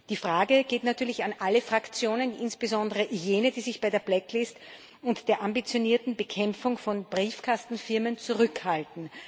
Die Frage geht natürlich an alle Fraktionen, insbesondere an jene, die sich bei der blacklist und der ambitionierten Bekämpfung von Briefkastenfirmen zurückhalten.